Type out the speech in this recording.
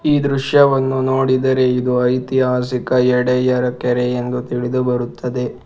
ಈ ದೃಶ್ಯವನ್ನು ನೋಡಿದರೆ ಇದು ಐತಿಹಾಸಿಕ ಯಡೆಯರ್ ಕೆರೆಯೆಂದು ತಿಳಿದು ಬರುತ್ತದೆ.